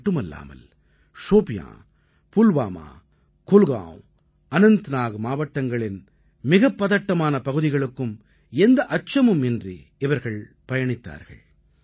இதுமட்டுமல்லாமல் ஷோபியான் புல்வாமா குல்கான்வ் அனந்த்நாக் மாவட்டங்களின் மிகப் பதட்டமான பகுதிகளுக்கும் எந்த அச்சமும் இன்றி இவர்கள் பயணித்தார்கள்